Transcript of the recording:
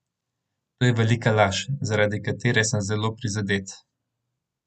To je velika laž, zaradi katere sem zelo prizadet.